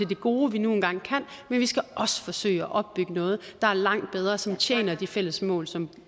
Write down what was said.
det gode vi nu engang kan men vi skal også forsøge at opbygge noget der er langt bedre og som tjener de fælles mål som